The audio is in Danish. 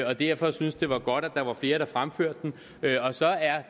og derfor syntes det var godt at der var flere der fremførte den og så er